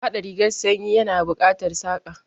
Haɗa rigar sanyi ya na buƙatar Saƙa